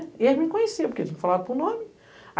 E ele me conheciam, porque eles falavam por nome.